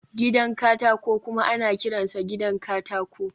gidan katako kuma ana kiransa gidan katako